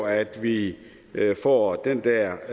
at vi får den der